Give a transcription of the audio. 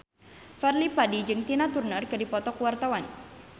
Fadly Padi jeung Tina Turner keur dipoto ku wartawan